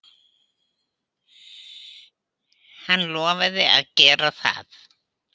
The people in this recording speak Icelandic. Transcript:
Hann lofaði að gera það.